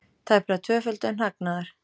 Tæplega tvöföldun hagnaðar